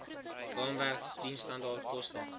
raamwerk diensstandaard koste